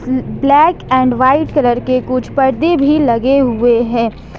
Black and white colour के कुछ परदे भी लगे हुए हैं।